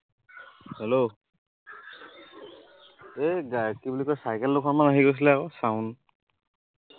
Hello এই কি বুলি কয় চাইকেল দুখনমান আহি গৈছিলে আকৌ sound